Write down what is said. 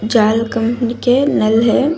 जाल कंपनी के नल है।